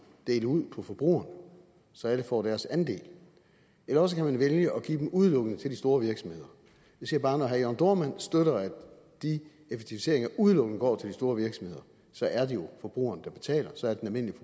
dele ud på forbrugerne så alle får deres andel eller også kan man vælge at give dem udelukkende til de store virksomheder jeg siger bare at når herre jørn dohrmann støtter at de effektiviseringer udelukkende går til de store virksomheder så er det jo forbrugeren der betaler så er det den